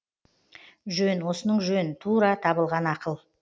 жөн осының жөн тура табылған ақыл